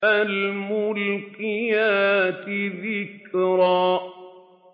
فَالْمُلْقِيَاتِ ذِكْرًا